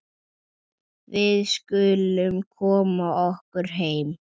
Við skulum koma okkur heim.